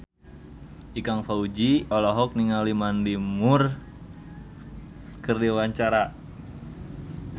Ikang Fawzi olohok ningali Mandy Moore keur diwawancara